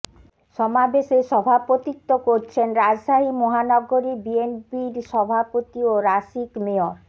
সমাবেশের সভাপতিত্বে করছেন রাজশাহী মহানগরী বিএনপির সভাপতি ও রাসিক মেয়র